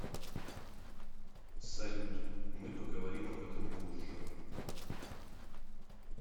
салют мы поговорим об этом позже